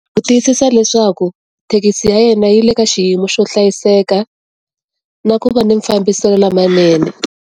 Ku tiyisisa leswaku, thekisi ya yena yi le ka xiyimo xo hlayiseka, na ku va ni mfambiselo lamanene.